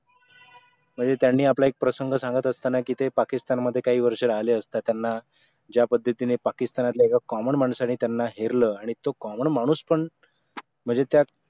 म्हणजे त्यांनी आपला एक प्रसंग सांगत असताना की ते पाकिस्तान मध्ये काही वर्ष राहिले असता त्यांना ज्या पद्धतीने पाकिस्तानातले एका common माणसाने त्यांना हेरलंआणि तो common माणूस पण